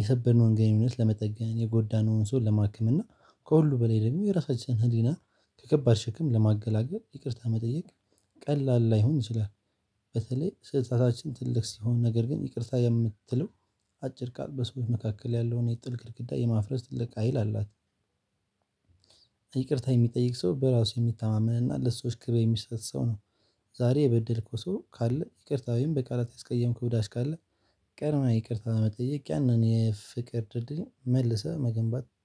የሰበርነውን ግንኙነት ለመጠገን የጎዳነውን ሰው ለማክም እና ከሁሉ በላይ ደግሞ የራሳችንን ህሊና ከከባድ ሽክም ለማገላገል ይቅርታ መጠየቅ ቀላል ላይሆን ይችላል። በተለይ ስህተታችን ትልቅ ሲሆን ነገር ግን ይቅርታ የምትለው አጭር ቃል በሰዎች መካከል ያለውን የጥልቅ ግድግዳ የማፍረስ ትልቅ ሀይል አላት። ይቅርታ የሚጠይቅ ሰው በራሱ የሚተማመን እና ለሰዎች ክበር የሚሰጥ ሰው ነው። ዛሬ የበደልኩ ሰው ካለ ይቅርታ ወይም በቃላት ያስቀየምኩ ዳስ ካለ። ቀድመህ ይቅርታ መጠየቅ ያንን የፍቅር ድልድይ መልሰህ መገንባት